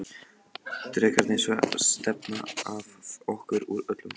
Drekarnir stefna að okkur úr öllum áttum.